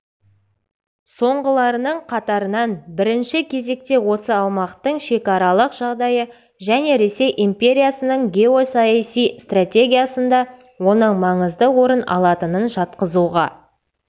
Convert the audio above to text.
соңғыларының қатарынан бірінші кезекте осы аумақтың шекаралық жағдайы және ресей империясының геосаяси стратегиясында оның маңызды орын алатынын жатқызуға